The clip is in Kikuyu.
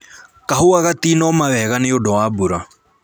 Kahũa gatinoma wega nĩũndũ wa mbura